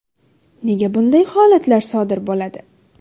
Nega bunday holatlar sodir bo‘ladi?